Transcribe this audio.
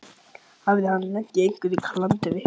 Hafði hann lent í einhverju klandri?